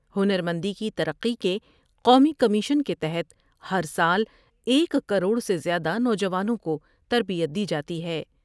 ہنرمندی کی ترقی کے قومی کمیشن کے تحت ہر سال ایک کروڑ سے زیادہ نوجوانوں کو تربیت دی جاتی ہے ۔